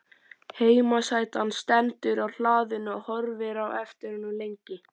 Heimasætan stendur á hlaðinu og horfir á eftir honum lengi.